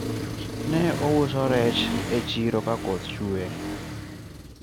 ne ouso rech e chiro ka koth chuwe